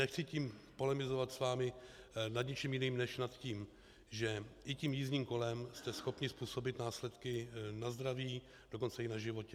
Nechci tím polemizovat s vámi nad ničím jiným, než nad tím, že i tím jízdním kolem jste schopni způsobit následky na zdraví, dokonce i na životě.